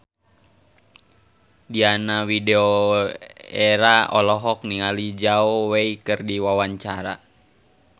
Diana Widoera olohok ningali Zhao Wei keur diwawancara